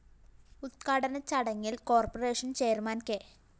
ഉദ്ഘാടന ചടങ്ങില്‍ corporation chairman K